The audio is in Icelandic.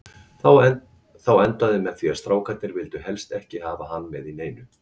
Þá endaði með því að strákarnir vildu helst ekki hafa hann með í neinu.